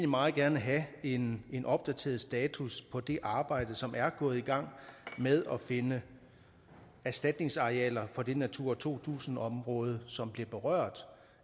meget gerne have en en opdateret status på det arbejde som er gået i gang med at finde erstatningsarealer for det natura to tusind område som bliver berørt